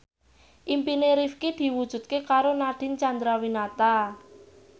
impine Rifqi diwujudke karo Nadine Chandrawinata